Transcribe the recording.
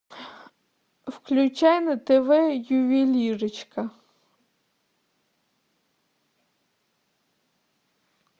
включай на тв ювелирочка